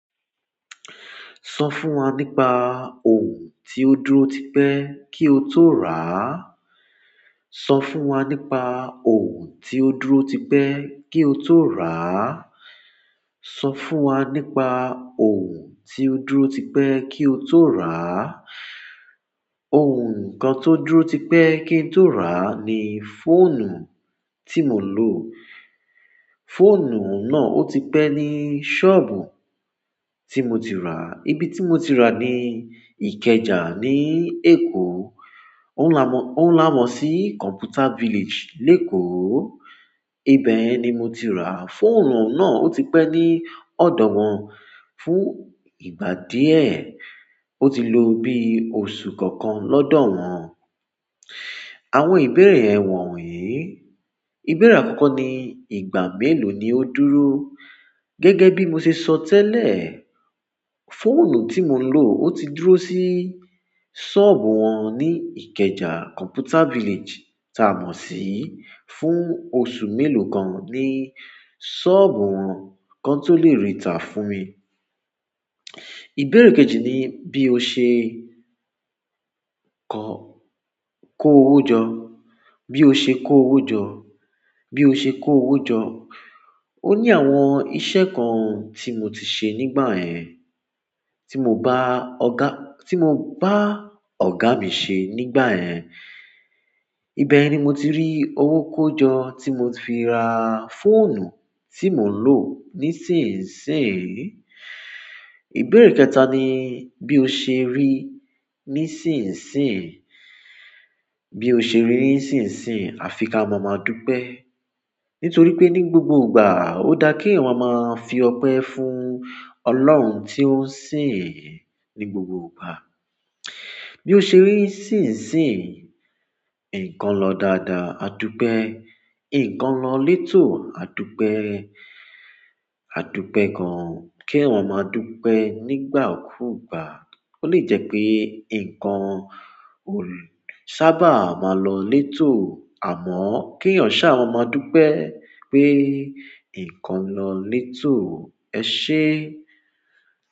Sọ fún wa nípa ohun tó dúró tipẹ́ kí o tó rà á. Sọ fún wa nípa ohun tó dúró tipẹ́ kí o tó rà á. Sọ fún wa nípa ohun tó dúró tipẹ́ kí o tó rà á. Ohun kan tó dúró tipẹ́ kí n tó rà á ni fóònù tí mò ń lò. Fóònù náà ó tipẹ́ ní sọ́ọ̀bù tí mo ti rà á. Ibi tí mo ti rà á ni Ìkẹjà ní Èkó. Ó ń lámọ̀, ó ń lámọ̀ sí Computer Village, Èkó. Ibẹ̀ ni mo ti rà á. Fóònù náà ó tipẹ́ ní ọ̀dọ̀ wọn fún ìgbà díẹ̀. Ó ti lo bí oṣù kankan lọ́dọ̀ wọn. Àwọn ìbéèrè ẹ wọ̀nyí. Ìbéèrè àkọ́kọ́ ni ìgbà mélòó ni ó dúró? Gẹ́gẹ́ bí mo ṣe sọ tẹ́lẹ̀, fóònù tí mò ń lò ó ti dúró sí sọ́ọ̀bù wọn ní Ìkẹjà Computer Village tá mọ̀ sí fún oṣù mélòó kan ní sọ́ọ̀bù wọn kí wọ́n tó lè rí i tà fún mi. Ìbéèrè kejì ni bí o ṣe kọ́, kó owó jọ, bí o ṣe kó owó jọ, bí o ṣe kó owó jọ. Ó ní àwọn iṣẹ́ kan tí mo ti ṣe nígbà yẹn, tí mo bá ọ̀gá, tí mo bá ọ̀gá mi ṣe nígbà yẹn. Ibẹ̀ ni mo ti rí owó kó jọ tí mo fi ra fóònù tí mò ń lò nísinsìnyí. Ìbéèrè kẹta ni bí o ṣe rí nísinsìnyí, bí o ṣe rí nísinsìnyí. A fi ka mọ̀ọ́mọ̀á dúpe. Nítorí pé ní gbogbo ìgbà ó dá kí èèyàn máa fi ọpẹ́ fún Ọlọ́run tí ó ń sìn ín ní gbogbo ìgbà. Bí o ṣe rí nísinsìnyí, nǹkan lọ dáadáa, a dúpe. Nǹkan lọ létò, a dúpe, a dúpe gan-an kí èèyàn ó máa dúpẹ́ nígbà kú ìgbà. Ó lè jẹ́ pé nǹkan ò sábà máa lọ létò, àmọ́ kí èèyàn ṣá á máa dúpẹ́ pé nǹkan lọ létò. Ẹ ṣé é.